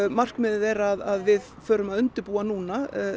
markmiðið er að við förum að undirbúa núna